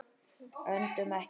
Öndum ekki.